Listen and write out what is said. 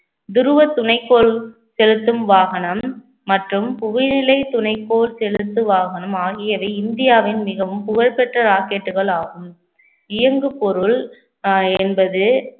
துருவத் துணைக்கோள் செலுத்தும் வாகனம் மற்றும் புகையிலை துணைக்கோள் செலுத்து வாகனம் ஆகியவை இந்தியாவின் மிகவும் புகழ்பெற்ற rocket கள் ஆகும் இயங்கு பொருள் அஹ் என்பது